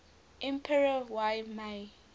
emperor y mei